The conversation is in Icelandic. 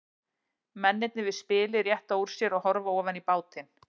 Mennirnir við spilið rétta úr sér og horfa ofan í bátinn.